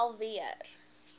vorm uf invul